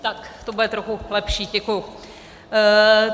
Tak, to bude trochu lepší, děkuji.